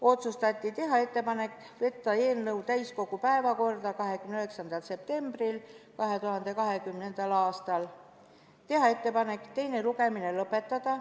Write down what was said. Otsustati teha ettepanek võtta eelnõu täiskogu päevakorda 29. septembril 2020. aastal ja teha ettepanek teine lugemine lõpetada.